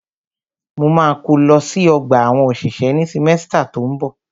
Mo ma kó lọ sí ọgbà àwọn òṣìṣẹ́ ní símẹ́stà tó ń bọ̀.